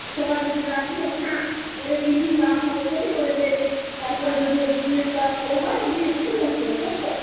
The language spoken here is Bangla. সবায় যদি রাজি হয় হ্যাঁ এরে দিনি কাম হবে জেনে ওরে দেবে. তারপরে যদি ওর business টা run করে হ্যাঁ ধীরে ধীরে loan পরিশোধ করো.